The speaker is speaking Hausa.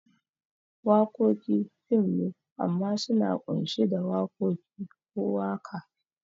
Wakoki fim ne amma suna kunshi da wakoki ko waka